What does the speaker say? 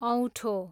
औठो